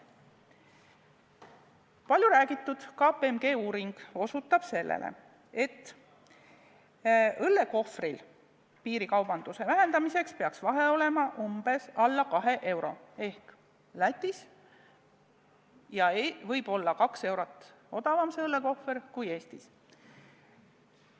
Palju räägitud KPMG uuring osutab sellele, et piirikaubanduse vähendamiseks peaks õllekohvri hinna vahe olema umbes 2 eurot ehk Lätis võib see maksta 2 eurot vähem kui Eestis.